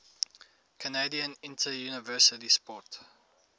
canadian interuniversity sport